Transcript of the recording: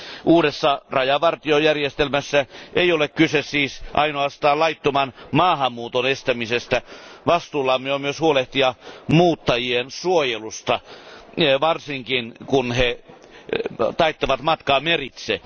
Uudessa rajavartiojärjestelmässä ei ole kyse siis ainoastaan laittoman maahanmuuton estämisestä, vastuullamme on myös huolehtia muuttajien suojelusta, varsinkin kun he taittavat matkaa meritse.